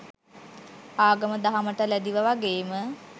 ආගම දහමට ලැදිව වගේම